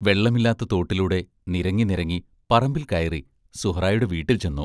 വെള്ളമില്ലാത്ത തോട്ടിലൂടെ നിരങ്ങി നിരങ്ങി പറമ്പിൽക്കയറി സുഹ്റായുടെ വീട്ടിൽ ചെന്നു.